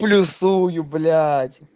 плюсую блять